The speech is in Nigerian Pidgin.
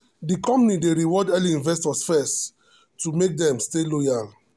the company dey reward early investors first to make dem stay loyal.